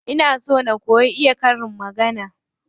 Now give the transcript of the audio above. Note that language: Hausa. Ina so na koyi iya karin magana.